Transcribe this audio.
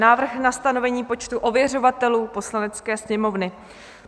Návrh na stanovení počtu ověřovatelů Poslanecké sněmovny